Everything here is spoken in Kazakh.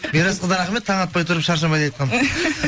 мирасқа да рахмет таң атпай тұрып шаршамайды айтқан